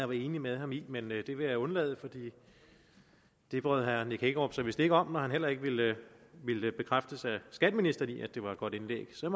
var enig med ham i men det vil jeg undlade for det bryder herre nick hækkerup sig vist ikke om når han heller ikke ville bekræftes af skatteministeren i at det var et godt indlæg så